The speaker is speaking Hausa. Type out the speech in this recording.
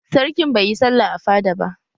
Sarkin baiyi sallah a fada ba